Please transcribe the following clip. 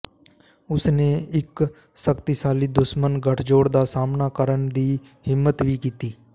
ਉਸਨੇ ਇੱਕ ਸ਼ਕਤੀਸ਼ਾਲੀ ਦੁਸ਼ਮਣ ਗਠਜੋੜ ਦਾ ਸਾਹਮਣਾ ਕਰਨ ਦੀ ਹਿੰਮਤ ਵੀ ਕੀਤੀ